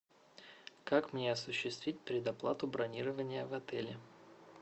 как мне осуществить предоплату бронирования в отеле